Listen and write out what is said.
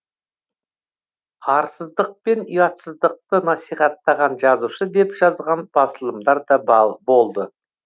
арсыздықпен ұятсыздықты насихаттаған жазушы деп жазған басылымдар да болды